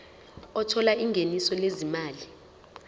othola ingeniso lezimali